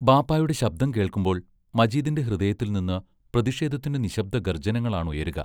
ബാപ്പായുടെ ശബ്ദം കേൾക്കുമ്പോൾ മജീദിന്റെ ഹൃദയത്തിൽ നിന്ന് പ്രതിഷേധത്തിന്റെ നിശ്ശബ്ദ ഗർജനങ്ങളാണുയരുക.